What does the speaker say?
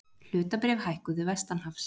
Hlutabréf hækkuðu vestanhafs